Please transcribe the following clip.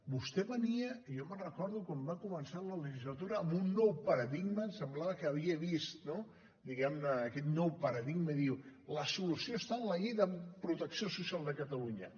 vostè venia i jo me’n recordo quan va començar la legislatura amb un nou paradigma semblava que havia vist diguem ne aquest nou paradigma i diu la solució està en la llei de protecció social de catalunya